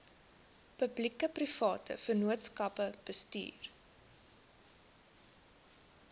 publiekeprivate vennootskappe bestuur